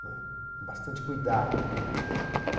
não é, com bastante cuidado, não é.